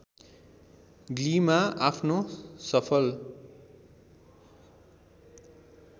ग्लीमा आफ्नो सफल